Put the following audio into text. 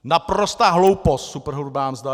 Naprostá hloupost - superhrubá mzda!